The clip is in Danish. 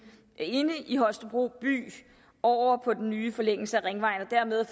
inde i holstebro by over på den nye forlængelse af ringvejen og dermed